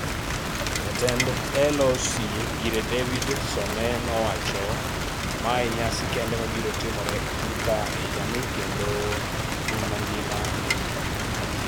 Jatend LOC, Ngire David Some nowacho: “Ma e nyasi kende mabiro timore e thurka e higa ni kendo piny mangima neno.”